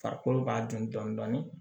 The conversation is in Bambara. Farikolo b'a dun dɔɔni dɔɔni